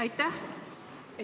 Aitäh!